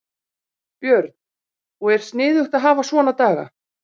Björn: Og er sniðugt að hafa svona daga?